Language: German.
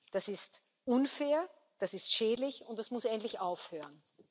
Das ist unfair, das ist schädlich, und das muss endlich aufhören.